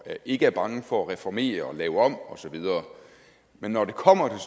ikke er bange for at reformere og lave om osv men når det kommer